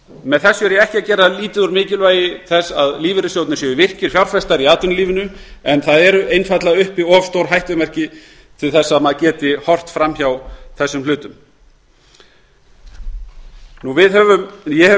með þessu er ég ekki að gera lítið úr mikilvægi þess að lífeyrissjóðirnir séu virkir fjárfestar í atvinnulífinu en það eru einfaldlega uppi of stór hættumerki til að maður geti horft fram hjá þessum hlutum ég hef í stuttu